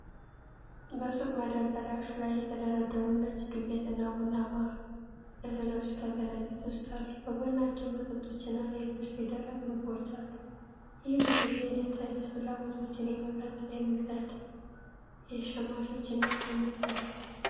በሱቅ መደርደሪያዎች ላይ የተደረደሩ ነጭ ዱቄት እና ቡናማ እህሎች በከረጢት ውስጥ አሉ። ከጎናቸው መጠጦችና ሌሎች የደረቅ ምግቦች አሉ። ይህ ብዙ የዕለት ተዕለት ፍላጎቶችን የመምረጥና የመግዛት የሸማቾችን ነፃነት አለው።